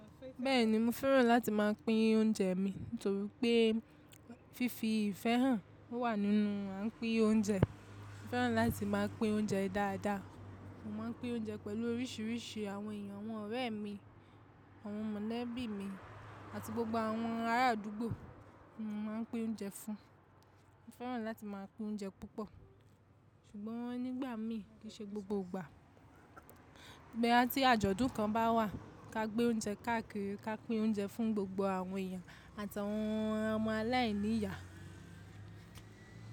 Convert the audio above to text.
Bẹ́ẹ̀ni, mo fẹ́ràn láti máa pín oúnjẹ mi torípé fífi ìfẹ́ hàn wà nínú à ń pín oúnjẹ. Mo fẹ́ràn láti máa pín oúnjẹ dáadáa. Mo máa pín oúnjẹ pẹ̀lú oríṣìíríṣìí àwọn èèyàn, àwọn ọ̀rẹ́ mi, àwọn mọ̀lẹ́bí mi àti gbogbo àwọn ará àdúgbò, mo máa pín oúnjẹ fún wọn. Mo fẹ́ràn láti máa pín oúnjẹ púpọ̀, ṣùgbọ́n nígbàmí kí í ṣe gbogbo ìgbà. Boya tí àjọ̀dún kan bá wà, ká gbé oúnjẹ káàkiri, ká pín oúnjẹ fún gbogbo àwọn èèyàn àti àwọn ọmọ aláìní ìyá.